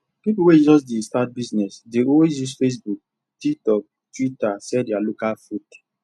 people wey just dey start business dey always use facebook tiktok twitter sell their local food